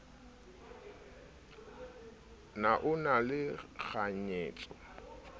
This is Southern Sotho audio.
na o na le kganyetso